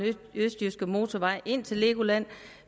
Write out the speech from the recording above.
østjyske motorvej ind til legoland